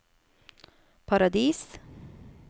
Paradis